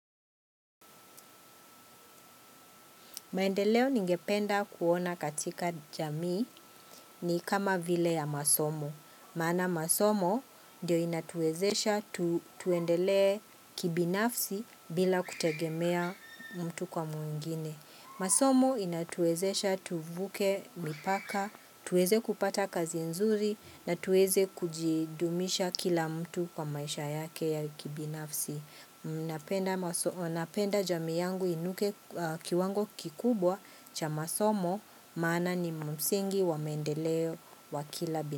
Maendeleo ningependa kuona katika jamii ni kama vile ya masomo. Maana masomo ndio yanatuwezesha tuendelee kibinafsi bila kutegemea mtu kwa mwingine. Masomo yanatuwezesha tuvuke mipaka, tuweze kupata kazi nzuri na tuweze kujidumisha kila mtu kwa maisha yake ya kibinafsi. Ninapenda. Ninapenda jamii yangu iinuke kiwango kikubwa cha masomo. Maana ni msingi wa maendeleo wa kila bina.